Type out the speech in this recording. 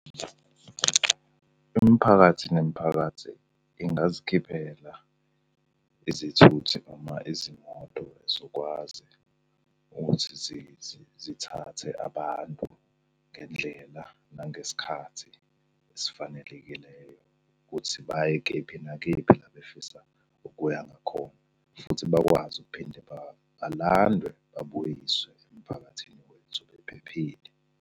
Imiphakathi nemiphakathi ingazikhiphela izithuthi noma izimoto ezokwazi ukuthi zithathe abantu ngendlela nangesikhathi esifanelekileyo, ukuthi baye kephi nakephi la befisa ukuya ngakhona, futhi bakwazi ukuphinde balandwe babuyiswe emphakathini wethu bephephile.